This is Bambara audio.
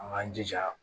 An k'an jija